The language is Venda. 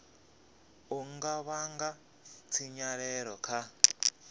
u nga vhanga tshinyalelo kha